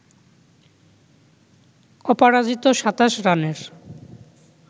অপরাজিত ২৭ রানের